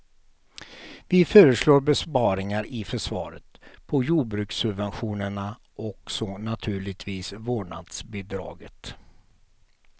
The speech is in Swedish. Vi föreslår besparingar i försvaret, på jordbrukssubventionerna och så naturligtvis vårdnadsbidraget.